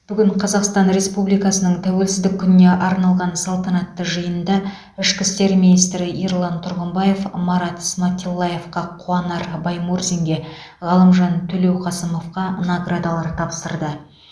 бүгін қазақстан республикасының тәуелсіздік күніне арналған салтанатты жиында ішкі істер министрі ерлан тұрғымбаев марат сматиллаевқа қуанар баймурзинге ғалымжан төлеуқасымовқа наградалар тапсырды